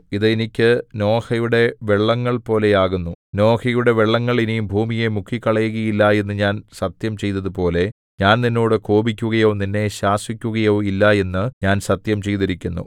ഇത് എനിക്ക് നോഹയുടെ വെള്ളങ്ങൾപോലെയാകുന്നു നോഹയുടെ വെള്ളങ്ങൾ ഇനി ഭൂമിയെ മുക്കിക്കളയുകയില്ല എന്നു ഞാൻ സത്യം ചെയ്തതുപോലെ ഞാൻ നിന്നോട് കോപിക്കുകയോ നിന്നെ ശാസിക്കുകയോ ഇല്ല എന്നു ഞാൻ സത്യം ചെയ്തിരിക്കുന്നു